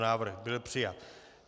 Návrh byl přijat.